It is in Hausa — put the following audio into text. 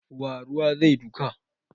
Wa ruwa zai duka?